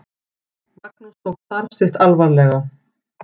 Magnús tók starf sitt alvarlega.